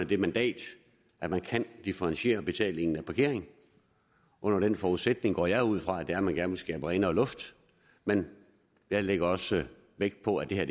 det mandat at man kan differentiere betalingen af parkering under den forudsætning går jeg ud fra at man gerne vil skabe renere luft men jeg lægger også vægt på at det her